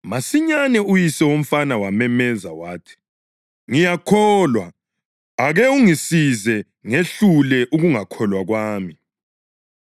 Masinyane uyise womfana wamemeza wathi, “Ngiyakholwa; ake ungisize ngehlule ukungakholwa kwami!”